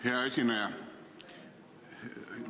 Hea esineja!